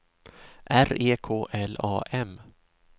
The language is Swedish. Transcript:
R E K L A M